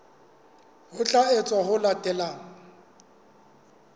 ho tla etswa ho latela